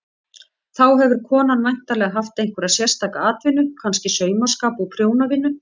Þá hefur konan væntanlega haft einhverja sérstaka atvinnu, kannski saumaskap og prjónavinnu.